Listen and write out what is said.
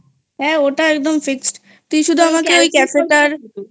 হ্যাঁ ওটা একদম fixed তুই শুধু আমাকেওই cafe টার তাহলে